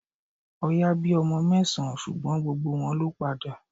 Oya bí ọmọ mẹ́sàn-án ṣùgbọ́n gbogbo wọn ló padà